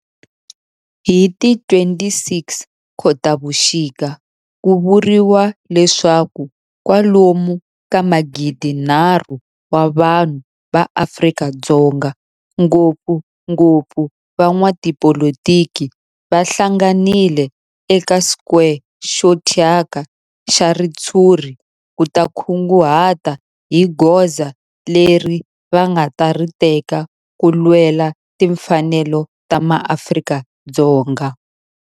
Hi ti 26 Khotavuxika ku vuriwa leswaku kwalomu ka magidinharhu wa vanhu va Afrika-Dzonga, ngopfungopfu van'watipolitiki va hlanganile eka square xo thyaka xa ritshuri ku ta kunguhata hi goza leri va nga ta ri teka ku lwela timfanelo ta maAfrika-Dzonga.